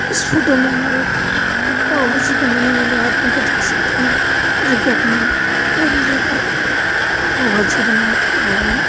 इस फोटो में हम लोग एक पाव भाजी बनाने वाले आदमी को देख सकते हैं जो कि अपना ट्राली लेकर पाव भाजी बना रहा है।